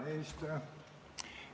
Hea eesistuja!